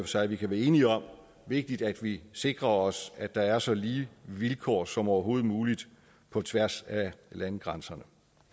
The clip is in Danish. sig kan være enige om vigtigt at vi sikrer os at der så lige vilkår som overhovedet muligt på tværs af landegrænserne